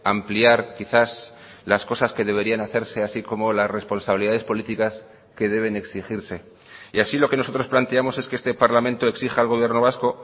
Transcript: ampliar quizás las cosas que deberían hacerse así como las responsabilidades políticas que deben exigirse y así lo que nosotros planteamos es que este parlamento exija al gobierno vasco